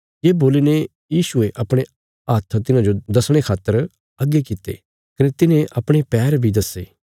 ये बोल्लीने यीशुये अपणे हत्थ तिन्हाजो दसणे खातर अग्गे कित्ते कने तिन्हे अपणे पैर बी दस्से